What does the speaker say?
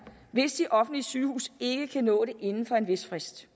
hvis de offentlige sygehuse ikke kan nå det inden for en vis frist